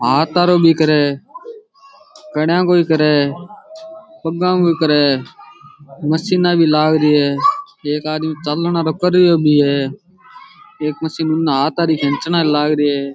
हाथ हारो भी करे है कड़यां को ही करे है पगां को ही करे है मशीना भी लाग री है एक आदमी चालन हारो कर रयो भी है एक मशीन हाथ हारी खैंचन हारी लाग री है।